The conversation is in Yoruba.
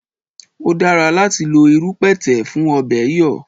O dára láti lo irú pẹ̀tẹ̀ fún ọ̀bẹ̀ẹ̀ yọ̀